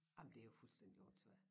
Ej men det jo fuldstændig åndssvagt